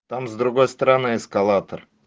там с другой стороны эскалатор